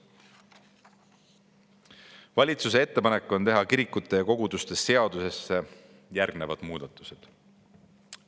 Valitsuse ettepanek on teha kirikute ja koguduste seadusesse järgmised muudatused.